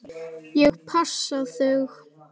Ég passa þig.